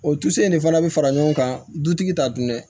O dusu in de fana bi fara ɲɔgɔn kan dutigi ta dun dɛ